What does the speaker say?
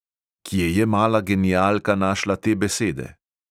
Kje je mala genialka našla te besede?